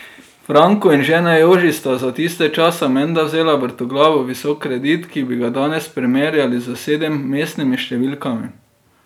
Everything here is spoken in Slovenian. Franko in žena Joži sta za tiste čase menda vzela vrtoglavo visok kredit, ki bi ga danes primerjali s sedemmestnimi številkami.